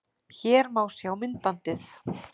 Hér má sjá myndbandið